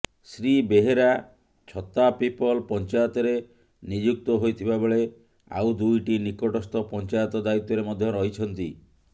ଶ୍ରୀ ବେହେରା ଛତାପିପଲ ପଂଚାୟତରେ ନିଯୁକ୍ତ ହୋଇଥିବା ବେଳେ ଆଉ ଦୁଇଟି ନିକଟସ୍ଥ ପଂଚାୟତ ଦାୟିତ୍ୱରେ ମଧ୍ୟ ରହିଛନ୍ତି